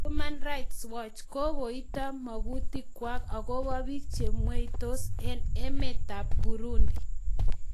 Human Rights Watch:Kokokoito magutikwa akobo biik chemweitos eng emetab Burundi